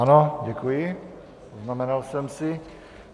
Ano, děkuji, poznamenal jsem si.